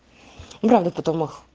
урал потом их